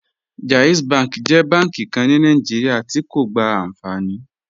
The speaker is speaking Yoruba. JAIZ bank jẹ bànki kàn ní Nàìjíríà tí̀ kò gbá ànfàní